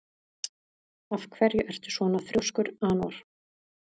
Af hverju ertu svona þrjóskur, Anor?